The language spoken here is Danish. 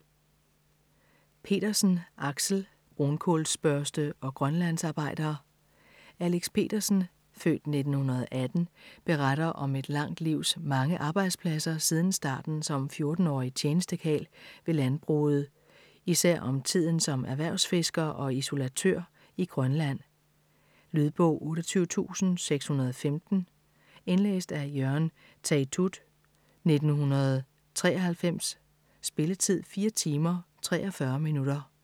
Petersen, Axel: Brunkulsbørste og grønlandsarbejder Alex Petersen (f. 1918) beretter om et langt livs mange arbejdspladser siden starten som 14-årig tjenestekarl ved landbruget, især om tiden som erhvervsfisker og isolatør i Grønland. Lydbog 28615 Indlæst af Jørgen Teytaud, 1993. Spilletid: 4 timer, 43 minutter.